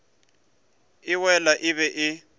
e wele e be e